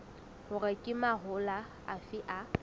hore ke mahola afe a